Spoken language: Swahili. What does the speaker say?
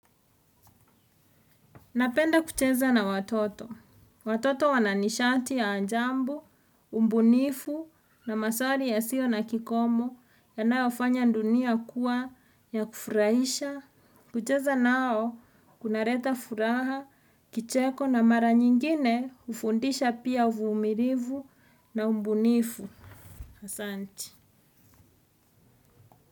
Napenda kucheza na watoto. Watoto wananishati ya ajabu, ubunifu na masali yasio na kikomo yanayo fanya dunia kuwa ya kufurahisha. Kucheza nao kunaleta furaha kicheko na mara nyingine hufundisha pia uvumilivu na ubunifu asante.